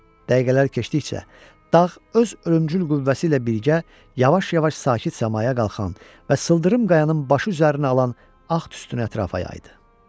Dəqiqələr keçdikcə dağ öz ölümgül qüvvəsi ilə birgə yavaş-yavaş sakit səmaya qalxan və sıldırım qayanın başı üzərinə alan ağ tüstünü ətrafa yaydı.